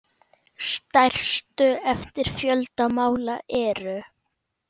Stærstu eftir fjölda mála eru